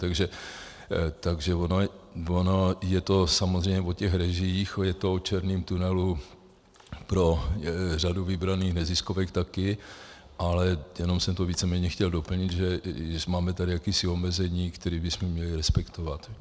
Takže ono je to samozřejmě o těch režiích, je to o černém tunelu pro řadu vybraných neziskovek taky, ale jenom jsem to víceméně chtěl doplnit, že máme tady jakési omezení, které bychom měli respektovat.